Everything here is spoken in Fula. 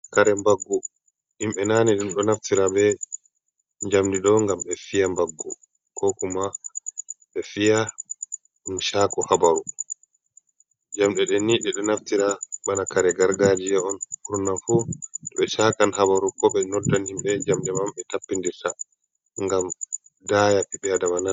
Kare mbaggu himɓe naane ɗum ɗo naftira be njamndi ɗo ngam ɓe fiya mbaggu. Ko kuma ɓe fiya ɗum cako habaru. Jamɗe ɗen ni, ɓe ɗo naftira bana kare gargajiya on, ɓurna fu, to ɓe cakan habaru, ko ɓe noddan himɓe ,jamɗe man, ɓe tappindirta ngam daaya ɓiɓɓe aadama nana.